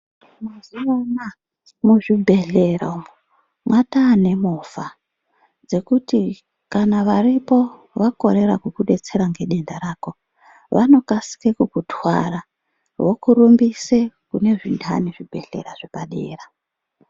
Mazuvano muzvibhedhlera umwo mwataa nemovha dzekuti kana varipo vakorera kukudetsera nedenda rako vanokasike kukutwara vokurumbise kune zvindani zvibhedheya zvepadera.